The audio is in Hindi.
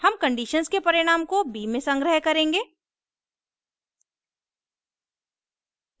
हम conditions के परिणाम को b में संग्रह करेंगे;